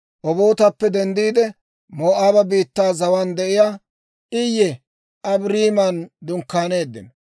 Obootappe denddiide, Moo'aaba biittaa zawaan de'iyaa Iye Abaariman dunkkaaneeddino.